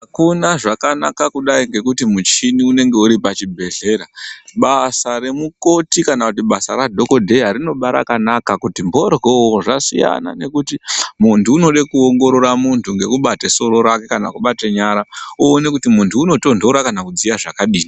Akuna zvakanaka kudai ngekuti muchini unenge uri pa chi bhedhlera basa re mukoti kana basa ra dhokodheya rinoba rakanaka kuti mboryo zvasina nekuti muntu unode kuongorora muntu ngeku bata soro rake kana kubate nyara oone kuti muntu uno tondora kana kudziya zvakadini.